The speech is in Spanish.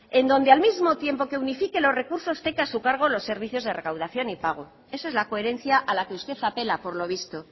en donde al mismo tiempo que unifique los recursos tenga a su cargo los servicios de recaudación y pago esa es la coherencia a la que usted apela por lo visto